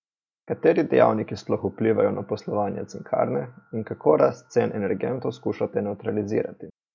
Kateri dejavniki sploh vplivajo na poslovanje cinkarne in kako rast cen energentov skušate nevtralizirati?